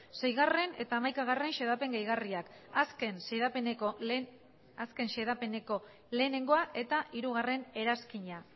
seigarrena eta hamaika xedapen gehigarriak azken xedapeneko batgarrena eta hiru eranskina